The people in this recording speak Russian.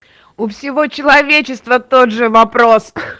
у всего человечества тот же вопрос